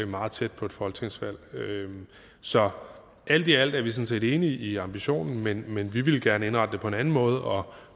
meget tæt på et folketingsvalg så alt i alt er vi sådan set enig i ambitionen men men vi vil gerne indrette det på en anden måde og